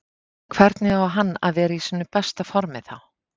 Hvernig á hann að vera í sínu besta formi þá?